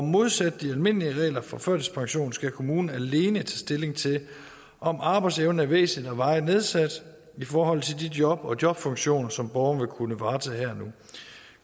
modsat de almindelige regler for førtidspension skal kommunen alene tage stilling til om arbejdsevnen er væsentligt og varigt nedsat i forhold til de job og jobfunktioner som borgeren vil kunne varetage her og nu